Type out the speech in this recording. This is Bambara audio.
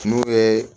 N'u ye